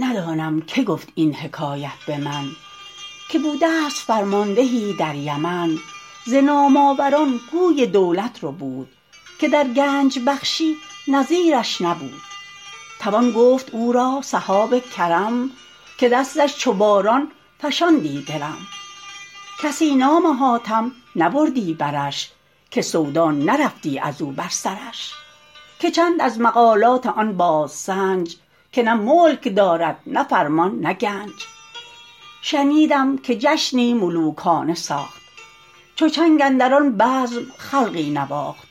ندانم که گفت این حکایت به من که بوده ست فرماندهی در یمن ز نام آور ان گوی دولت ربود که در گنج بخشی نظیر ش نبود توان گفت او را سحاب کرم که دستش چو باران فشاندی درم کسی نام حاتم نبردی برش که سودا نرفتی از او بر سرش که چند از مقالات آن بادسنج که نه ملک دارد نه فرمان نه گنج شنیدم که جشنی ملوکانه ساخت چو چنگ اندر آن بزم خلقی نواخت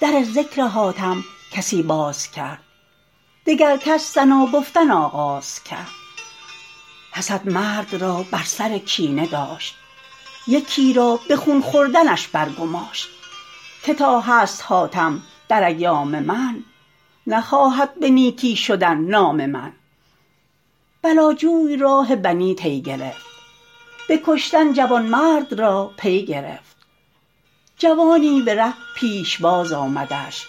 در ذکر حاتم کسی باز کرد دگر کس ثنا گفتن آغاز کرد حسد مرد را بر سر کینه داشت یکی را به خون خوردنش بر گماشت که تا هست حاتم در ایام من نخواهد به نیکی شدن نام من بلا جوی راه بنی طی گرفت به کشتن جوانمرد را پی گرفت جوانی به ره پیشباز آمدش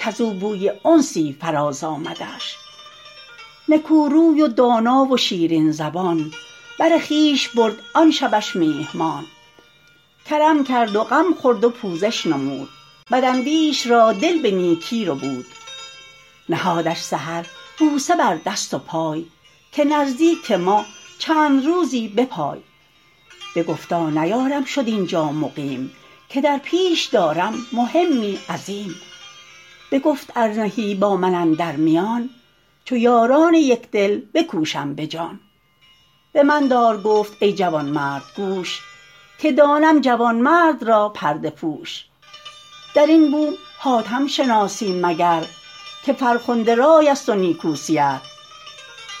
کز او بوی انسی فراز آمدش نکو روی و دانا و شیرین زبان بر خویش برد آن شبش میهمان کرم کرد و غم خورد و پوزش نمود بد اندیش را دل به نیکی ربود نهادش سحر بوسه بر دست و پای که نزدیک ما چند روزی بپای بگفتا نیارم شد اینجا مقیم که در پیش دارم مهمی عظیم بگفت ار نهی با من اندر میان چو یاران یکدل بکوشم به جان به من دار گفت ای جوانمرد گوش که دانم جوانمرد را پرده پوش در این بوم حاتم شناسی مگر که فرخنده رای است و نیکو سیر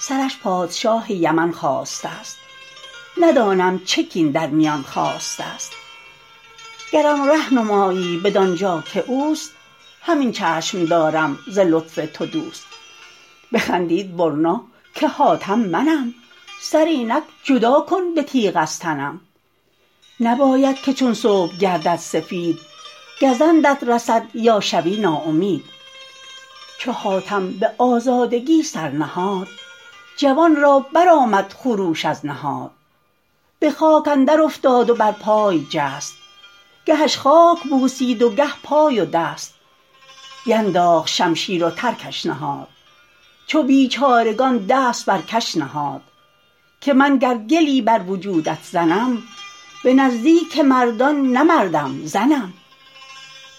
سرش پادشاه یمن خواسته ست ندانم چه کین در میان خاسته ست گرم ره نمایی بدان جا که اوست همین چشم دارم ز لطف تو دوست بخندید برنا که حاتم منم سر اینک جدا کن به تیغ از تنم نباید که چون صبح گردد سفید گزندت رسد یا شوی ناامید چو حاتم به آزادگی سر نهاد جوان را برآمد خروش از نهاد به خاک اندر افتاد و بر پای جست گهش خاک بوسید و گه پای و دست بینداخت شمشیر و ترکش نهاد چو بیچارگان دست بر کش نهاد که من گر گلی بر وجودت زنم به نزدیک مردان نه مردم زنم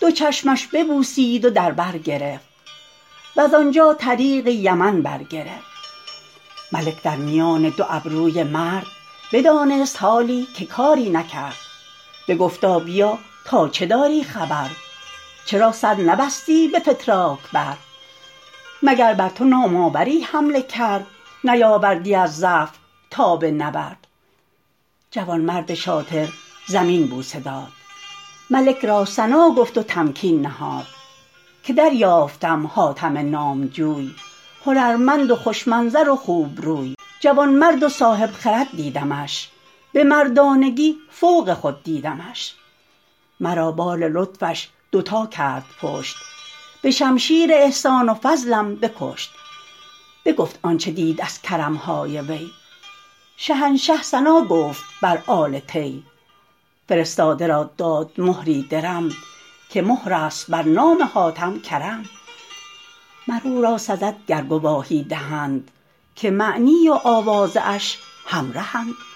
دو چشمش ببوسید و در بر گرفت وز آنجا طریق یمن بر گرفت ملک در میان دو ابروی مرد بدانست حالی که کاری نکرد بگفتا بیا تا چه داری خبر چرا سر نبستی به فتراک بر مگر بر تو نام آوری حمله کرد نیاوردی از ضعف تاب نبرد جوانمرد شاطر زمین بوسه داد ملک را ثنا گفت و تمکین نهاد که دریافتم حاتم نامجوی هنرمند و خوش منظر و خوبروی جوانمرد و صاحب خرد دیدمش به مردانگی فوق خود دیدمش مرا بار لطفش دو تا کرد پشت به شمشیر احسان و فضلم بکشت بگفت آنچه دید از کرم های وی شهنشه ثنا گفت بر آل طی فرستاده را داد مهری درم که مهر است بر نام حاتم کرم مر او را سزد گر گواهی دهند که معنی و آوازه اش همرهند